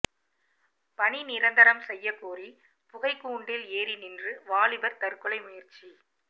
பணி நிரந்தரம் செய்யக் கோரி புகைக்கூண்டில் ஏறி நின்று வாலிபர் தற்கொலை முயற்சி